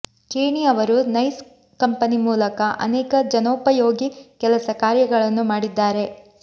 ಖೇಣಿ ಅವರು NICE company ಮೂಲಕ ಅನೇಕ ಜನೋಪಯೋಗಿ ಕೆಲಸಕಾರ್ಯಗಳನ್ನು ಮಾಡಿದ್ದಾರೆ